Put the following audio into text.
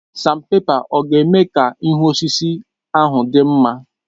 Sanpèpa ọ̀ ga-eme ka ihu osisi ahụ dị mma?